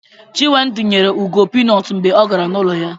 Chinwendu nyere Ugo pinut mgbe ọ gara n'ụlọ ya